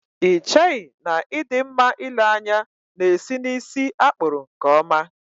Ị cheghị na ị dị mma ịle anya na-esi n'ísí a kpụrụ nkeọma?